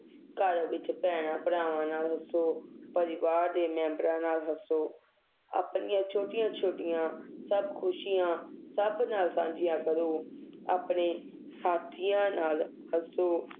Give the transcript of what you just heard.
ਘਰ ਵਿਚ ਭੈਣਾਂ ਭਰਾਵਾਂ ਨਾਲ ਹੱਸੋ ਪਰਿਵਾਰ ਦੇ ਮੇਮ੍ਬਰਾਂ ਨਾਲ ਹੱਸੋ ਆਪਣੀਆਂ ਛੋਟੀਆਂ ਛੋਟੀਆਂ ਸਭ ਖੁਸ਼ੀਆਂ ਸਬ ਨਾਲ ਸਾਂਝੀਆਂ ਕਰੋ ਆਪਣੇ ਸਾਥੀਆਂ ਨਾਲ ਹੱਸੋ